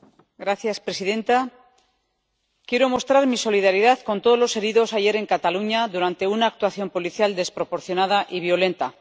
Señora presidenta, quiero mostrar mi solidaridad con todos los heridos ayer en Cataluña durante una actuación policial desproporcionada y violenta.